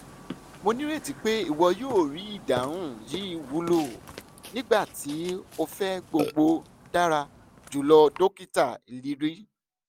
mo nireti pe iwọ yoo rii idahun yii wulo!nigbati o fẹ gbogbo dara julọ dokita iliri